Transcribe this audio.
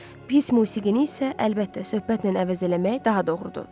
Pis musiqini isə, əlbəttə, söhbətlə əvəz eləmək daha doğrudur.